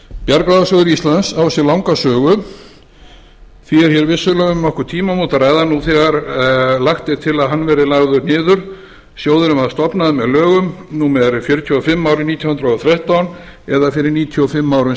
bjargráðasjóður íslands á sér langa sögu því er hér vissulega um nokkur tímamót að ræða nú þegar lagt er til að hann verði lagður niður sjóðurinn var stofnaður með lögum númer fjörutíu og fimm árið nítján hundruð og þrettán eða fyrir níutíu og fimm árum